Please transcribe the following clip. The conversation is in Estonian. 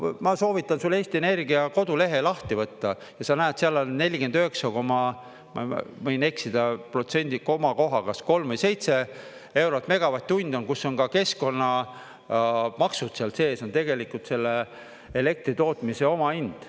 Ma soovitan sulle Eesti Energia kodulehe lahti võtta ja sa näed, seal on 49,… ma võin eksida protsendi komakohaga, kas kolm või seitse eurot megavatt-tund on, kus on ka keskkonnamaksud seal sees, on tegelikult selle elektritootmise omahind.